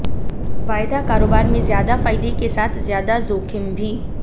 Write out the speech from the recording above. वायदा कारोबार में ज्यादा फायदे के साथ ज्यादा जोखिम भी